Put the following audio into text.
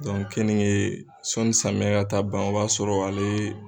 keninge sɔnni samiyɛn ka taa ban o b'a sɔrɔ ale.